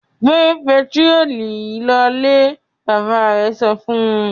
"Gbẹ pẹtírólù yìí lọlé!" Bàbá rẹ̀ sọ fún un.